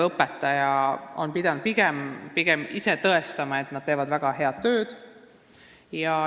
Õpetajad on pidanud pigem ise tõestama, et nad teevad väga head tööd.